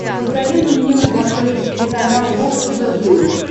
посоветуй мне на смотрешке телеканал бокс тв плюс